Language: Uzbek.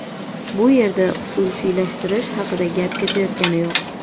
Bu yerda xususiylashtirish haqida gap ketayotgani yo‘q.